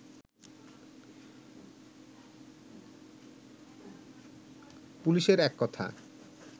পুলিশের এককথা